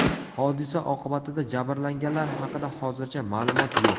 Hodisa oqibatida jabrlanganlar haqida hozircha ma’lumot yo‘q.